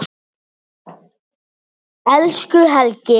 Elsku Helgi.